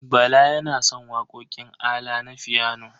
Bala yana son waƙoƙin ALA na fiyano.